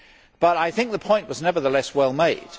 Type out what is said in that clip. but I think the point was, nevertheless, well made.